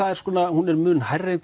hún er mun hærri en